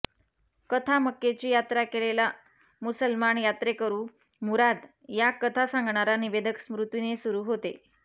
कथा मक्केची यात्रा केलेला मुसलमान यात्रेकरू मुराद या कथा सांगणारा निवेदक स्मृती ने सुरू होते